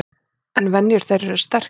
En venjur þeirra eru sterkar.